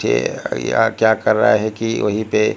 ये यहा क्या कर रहा है कि वही पे--